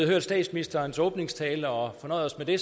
hørt statsministerens åbningstale og fornøjet os med det